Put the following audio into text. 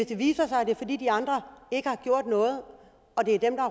det viser sig at det er fordi de andre ikke har gjort noget